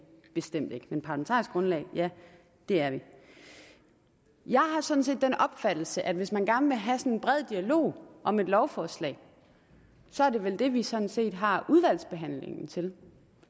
vi bestemt ikke men parlamentarisk grundlag ja det er vi jeg har sådan set den opfattelse at hvis man gerne vil have en bred dialog om et lovforslag er det vel det vi sådan set har udvalgsbehandlingen til